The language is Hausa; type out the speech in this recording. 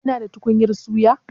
Kina da tukunyar suya?